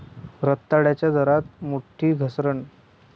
रताळ्याच्या दरात मोठी घसरण